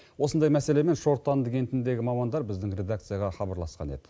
осындай мәселемен шортанды кентіндегі мамандар біздің редакцияға хабарласқан еді